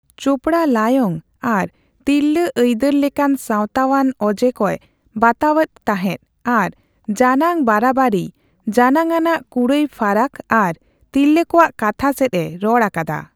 ᱪᱳᱯᱲᱟ ᱞᱟᱭᱚᱝ ᱟᱨ ᱛᱤᱨᱞᱟᱹ ᱟᱹᱭᱫᱟᱹᱨ ᱞᱮᱠᱟᱱ ᱥᱟᱣᱛᱟᱣᱟᱱ ᱚᱡᱮᱠᱚᱭ ᱵᱟᱛᱟᱣᱟᱫ ᱛᱟᱦᱮᱱ ᱟᱨ ᱡᱟᱱᱟᱝ ᱵᱟᱨᱟᱵᱟᱨᱤᱭ, ᱡᱟᱱᱟᱝᱼᱟᱱᱟᱜ ᱠᱩᱲᱟᱹᱭ ᱯᱷᱟᱨᱟᱠ ᱟᱨ ᱛᱤᱨᱞᱟᱹ ᱠᱚᱣᱟᱜ ᱠᱟᱛᱷᱟ ᱥᱮᱪᱼᱮ ᱨᱚᱲᱼᱟᱠᱟᱫᱟ ᱾